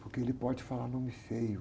Porque ele pode falar nome feio.